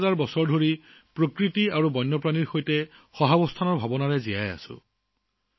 হাজাৰ হাজাৰ বছৰ ধৰি আমি প্ৰকৃতি আৰু বন্যপ্ৰাণীৰ সৈতে সহাৱস্থানৰ ধাৰণাৰে জীয়াই আহিছো